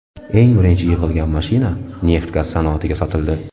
Eng birinchi yig‘ilgan mashina neft-gaz sanoatiga sotildi.